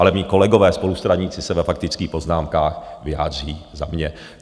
Ale mí kolegové spolustraníci se ve faktických poznámkách vyjádří za mě.